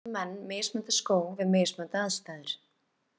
Í dag nota menn mismunandi skó við mismunandi aðstæður.